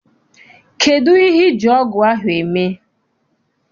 Kedụ ihe iji ọgụ ahụ eme?